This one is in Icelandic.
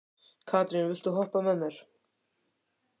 Katrín, viltu hoppa með mér?